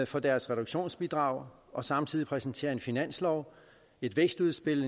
for deres reduktionsbidrag og samtidig præsenterer en finanslov et vækstudspil